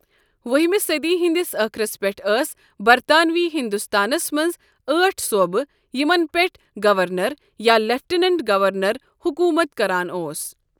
وُہمہِ صٔدی ہِنٛدِس ٲخرس پٮ۪ٹھ ٲسۍ برطانوی ہِنٛدُستانس منٛز ٲٹھ صوٖبہٕ یِمن پیٹھ گَورنَر یا لٮ۪فٹینینٛٹ گَورنر حكوٗمت کران اوس۔